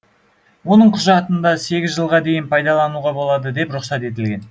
оның құжатында сегіз жылға дейін пайдалануға болады деп рұқсат етілген